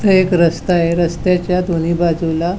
इथ एक रस्ता आहे रस्ताच्या दोन्ही बाजुला --